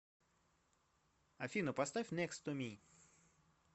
афина поставь некст ту ми